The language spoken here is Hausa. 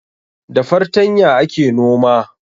Da fartanya ake noma